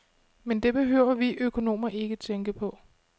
Men det behøver vi økonomer ikke tænke på.